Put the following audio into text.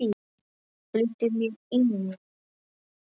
Flýtti mér inn.